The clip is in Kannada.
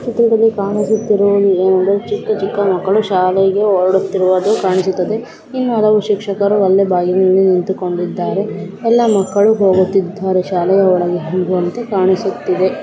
ಈ ಚಿತ್ರದಲ್ಲಿ ಕಾಣಿಸುತ್ತಿರುವುದು ಏನಂದರೆ ಚಿಕ್ಕ ಚಿಕ್ಕ ಮಕ್ಕಳು ಶಾಲೆಗೆ ಹೊರಡುತ್ತಿರುವುದು ಕಾಣಿಸುತ್ತದೆ ಇನ್ನು ಹಲವು ಶಿಕ್ಷಕರು ಅಲ್ಲೇ ಬಾಗಿಲಿನಲ್ಲಿ ನಿಂತುಕೊಂಡಿದ್ದಾರೆ ಎಲ್ಲಾ ಮಕ್ಕಳು ಹೋಗುತ್ತಿದ್ದಾರೆ ಶಾಲೆಯ ಒಳಗೆ ಹೋಗುವಂತೆ ಕಾಣಿಸುತ್ತಿದೆ.